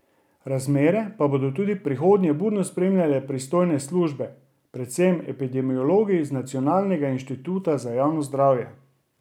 Razmere pa bodo tudi v prihodnje budno spremljale pristojne službe, predvsem epidemiologi z Nacionalnega inštituta za javno zdravje.